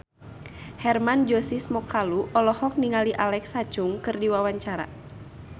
Hermann Josis Mokalu olohok ningali Alexa Chung keur diwawancara